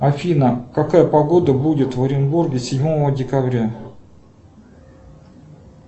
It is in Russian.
афина какая погода будет в оренбурге седьмого декабря